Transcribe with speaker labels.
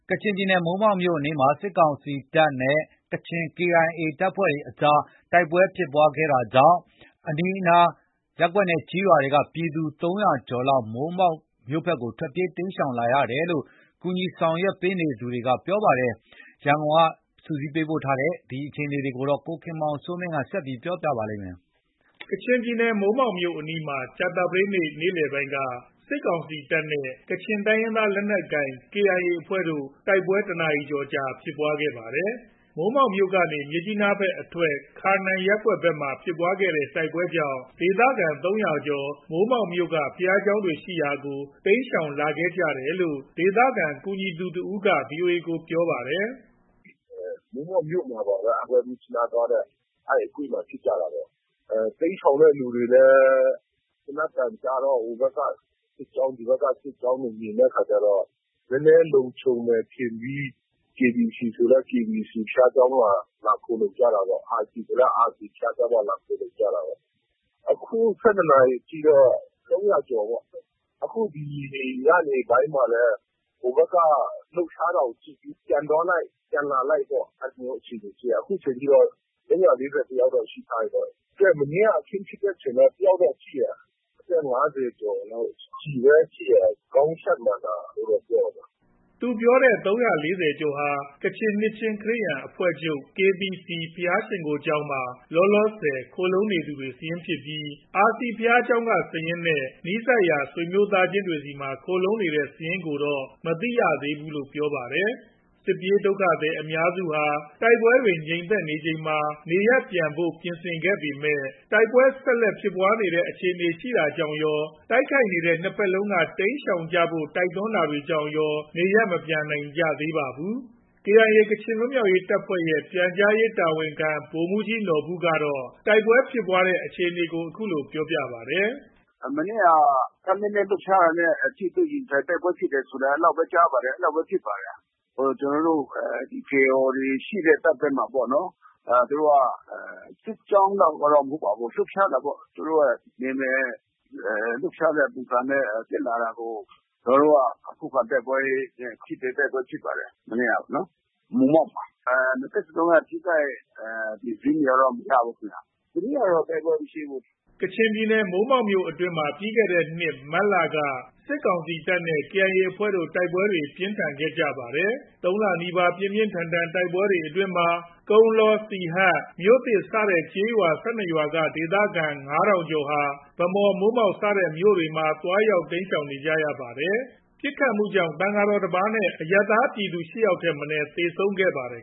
Speaker 1: ကချင်ပြည်နယ် မိုးမောက်မြို့အနီးမှာ စစ်ကောင်စီတပ်နဲ့ KIA ကချင်လက်နက်ကိုင်တပ်အကြား တိုက်ပွဲဖြစ်ပွားခဲ့တာကြောင့် အနီးအနားရပ်ကွက်နဲ့ ကျေးရွာက ပြည်သူ ၃ဝဝ ကျော် မိုးမောက်မြို့ဘက်ကို ထွက်ပြေး တိမ်းရှောင်နေကြပါတယ်။ နောက်ထပ်တိုက်ပွဲတွေဖြစ်လာမှာ စိုးရိမ်တဲ့အတွက် နေရပ်မပြန်နိုင်သေးဘူးလို့ ကူညီဆောင်ရွက်ပေးနေသူတွေက ပြောပါတယ်။ ရန်ကုန်ကလာတဲ့ ဒီသတင်းကို ကိုခင်မောင်စိုးမင်း က တင်ပြထားပါတယ်။
Speaker 2: ကချင်ပြည်နယ် မိုးမောက်မြို့အနီးမှာ ကြာသပတေးနေ့ နေ့လည်ပိုင်းက စစ်ကောင်စီတပ်နဲ့ ကချင်တိုင်းရင်းသား လက်နက်ကိုင် KIA အဖွဲ့တို့ တိုက်ပွဲ ၁ နာရီကျော်ဖြစ်ခဲ့ပါတယ်။ မိုးမောက်မြို့ကနေ မြစ်ကြီးနားဘက်အထွက် ခါနန်ရပ်ကွက်ဘက်မှာ ဖြစ်ပွားခဲ့တဲ့ တိုက်ပွဲကြောင့် ဒေသခံ ၃ဝဝ လောက် မိုးမောက်မြို့က ဘုရားရှိခိုးကျောင်းတွေရှိရာကို တိမ်းရှောင်လာခဲ့ကြတယ်လို့ ဒေသခံ ကူညီသူ တဦး က VOA ကို ပြောပါတယ်
Speaker 3: ။ “ မိုးမောက်မြို့မှာပါပဲ။ မြစ်ကြီးနားသွားတဲ့ အဲဒီအကွေ့မှာ ဖြစ်ကြတာပေ့ါ။ တိမ်းရှောင်တဲ့ သူတွေလည်း သေနတ်သံကြားတော့ ဟိုဘက်က စစ်ကြောင်း၊ ဒီဘက်က စစ်ကြောင်းတွေ မြင်တဲ့အခါကျတော့ နည်းနည်းလုံခြုံမယ် ထင်ပြီး KBC ဆိုလည်း KBC ဘုရားကျောင်းမှာ လာပြီး ခိုလှုံကြတာပေါ့။ RC ဆိုလည်း RC ဘုရားကျောင်းမှာ လာပြီး ခိုလှုံကြတာပေါ့။ အခု ၁၂ နာရီထိတော့ ၃ဝဝ ကျော်ပေါ့။ ဒီ ညနေပိုင်းမှာလည်း ဟိုဘက်က လှုပ်ရှားတာကို ကြည့်ပြီး ပြန်သွားလိုက်၊ ပြန်လာလိုက်ပေ့ါ။ အဲဒီအခြေအနေရှိတယ်။ အခုချိန်ထိတော့ ၃၄၁ ယောက်တော့ ရှိထားပြီပေါ့။ မနေ့က အခင်းဖြစ်တဲ့အချိန်လည်း တယောက်တော့ထိတယ်။ အသက် ၅ဝကျော်လောက်၊ ကျည်ပဲ ထိတယ်၊ ခေါင်းရှပ်မှန်တာလို့တော့ ပြောတယ်။
Speaker 2: ” သူပြောတဲ့ ၃၄ဝ ကျော်ဟာ ကချင်နှစ်ချင်းခရစ်ယာန်အဖွဲ့ချုပ် KBC ဘုရားရှိခိုးကျောင်းမှာ လောလောဆယ် ခိုလှုံနေသူတွေစာရင်းဖြစ်ပြီး RC ဘုရားရှိကျောင်းက စာရင်းနဲ့ နီးစပ်ရာ ဆွေမျိုးသားချင်းတွေဆီမှာ ခိုလှုံနေတဲ့ စာရင်းကိုတော့ မသိရဘူးလို့ပြောပါတယ်။ စစ်ပြေးဒုက္ခသည်အများစုဟာ တိုက်ပွဲတွေ ငြိမ်သက်ချိန်မှာ နေရပ်ပြန်ဖို့ ပြင်ဆင်ခဲ့ပေမဲ့ တိုက်ပွဲဆက်လက် ဖြစ်လာနိုင်တဲ့အခြေအနေရှိနေတာကြောင့်ရော တိုက်ခိုက်နေတဲ့ ၂ ဘက်လုံးက တိမ်းရှောင်ကြဖို့ တိုက်တွန်းထားတာကြောင့် နေရပ်မပြန်နိုင်ကြသေးပါဘူး။ KIA ကချင်လွတ်မြောက်ရေးတပ်ဖွဲ့ရဲ့ ပြန်ကြားရေးတာဝန်ခံ ဗိုလ်မှုးကြီးနော်ဘူကတော့ မနေ့ တိုက်ပွဲဖြစ်ပွားတဲ့ အခြေအနေကို အခုလို ပြောပါတယ်။ “ မနေ့
Speaker 4: တပ်နည်းနည်းလှုပ်ရှားတာနဲ့ ထိတွေ့ ရင်ဆိုင် တိုက်ပွဲဖြစ်တာလောက်ပဲ ကြားပါတယ်။ အဲလောက်ပဲ ဖြစ်ပါတယ်။ ကျနော်တို့ KIO တွေ ရှိတဲ့ တပ်ဘက်မှာပေါ့နော်။ သူတို့က စစ်ကြောင်းလောက်တော့ မဟုတ်ပါဘူး။ လှုပ်ရှားတာပေ့ါ။ သူတို့က နယ်မြေ လှုပ်ရှားတဲ့ ပုံစံနဲ့ တက်လာတာကို ကျနော်တို့က ခုခံတိုက်ပွဲနဲ့ ထိတွေ့တိုက်ပွဲဖြစ်ပါတယ်။ မနေ့ကပေါ့နော်။ မိုးမောက်မှာ
Speaker 3: ။ နှစ်ဘက်စလုံးက ထိခိုက် အသေစာရင်းတွေကတော့ မ
Speaker 1: ရဘူးခင်ဗျ။
Speaker 2: ဒီနေ့ကတော့ တိုက်ပွဲမရှိဘူး။ ” ကချင်ပြည်နယ် မိုးမောက်မြို့နယ်အတွင်းမှာ ပြီးခဲ့တဲ့နှစ် မတ်လက စစ်ကောင်စီတပ်နဲ့ KIA အကြား တိုက်ပွဲတွေပြင်းထန်ခဲ့ပါတယ်။ ၃ လနီးပါး ပြင်းထန်ခဲ့တဲ့ တိုက်ပွဲတွေအတွင်းမှာ ကုန်းလော၊ စီဟတ်၊ မြို့သစ်စတဲ့ ကျေးရွာ ၁၂ ရွာက ဒေသခံ ၅ဝဝဝ ကျော်ဟာ ဗန်းမော်၊ မိုးမောက် စတဲ့မြို့တွေမှာ သွားရောက်တိမ်းရှောင်ခဲ့ကြရပါတယ်။ ပစ်ခတ်မှုတွေကြောင့် သံဃာတော် တပါး နဲ့ အရပ်သားပြည်သ
Speaker 3: ူ ၈ ယောက်ထက်မနည်း သေဆုံးခဲ့ပါတယ်